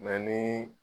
Mɛ ni